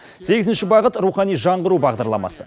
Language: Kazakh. сегізінші бағыт рухани жаңғыру бағдарламасы